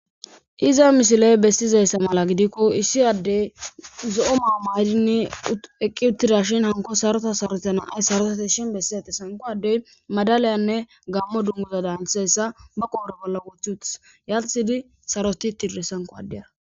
Iza misiley bestizayssa mala gidikko issi addey zo'o maamaydinne eqqi uttida shin hanko sarota saroeta naay sarotati shin bessizate sanko addey madaliyanne gaammo dunguza daanthessa ba qoora bolla wochchutas yalthidi saroti tirde sanko addiyara